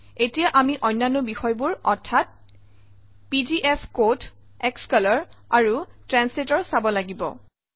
এতিয়া আমি অন্যান্য বিষয়বোৰ অৰ্থাৎ পিজিএফকোড স্কলৰ আৰু ট্ৰান্সলেটৰ চাব লাগিব